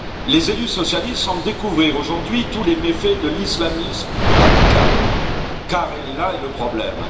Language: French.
Les élus socialistes semblent découvrir aujourd'hui tous les méfaits de l'islamisme radical, car là est le problème.